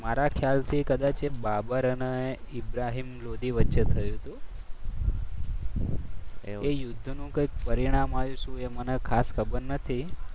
મારા ખ્યાલથી કદાચ એ બાબર અને ઇબ્રાહમ લોદી વચ્ચે થયું હતું. એ યુદ્ધનું કંઈક પરિણામ આવ્યું એ મને કંઈ ખાસ ખબર નથી.